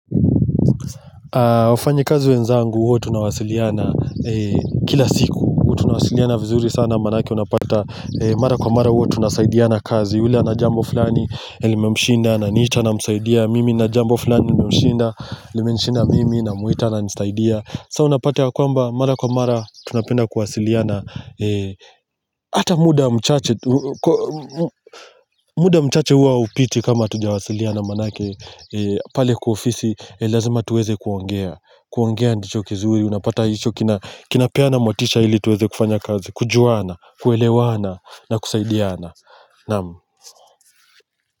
Wafanyikazi wenzangu huwa tunawasiliana Kila siku huwa Tunawasiliana vizuri sana maana ake unapata Mara kwa mara huwa tunasaidiana kazi ule ana jambo fulani limemshinda ananiita namsaidia Mimi nina jambo fulani limenishinda mimi namwita ananisaidia Sa unapata ya kwamba mara kwa mara Tunapenda kuwasiliana Ata muda mchache muda mchache huwa haupiti kama hatujawasiliana maana ake pale kwa ofisi Lazima tuweze kuongea kuongea ndicho kizuri unapata hicho kinapeana motisha ili tuweze kufanya kazi kujuana kuelewana na kusaidiana naam.